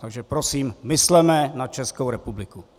Takže prosím, mysleme na Českou republiku!